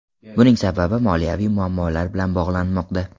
Buning sababi moliyaviy muammolar bilan bog‘lanmoqda.